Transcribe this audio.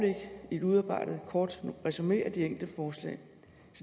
udarbejdet et kort resumé af de enkelte forslag